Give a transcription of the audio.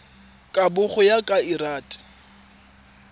kabo go ya ka lrad